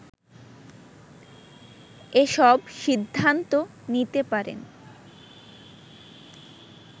এসব সিদ্ধান্ত নিতে পারে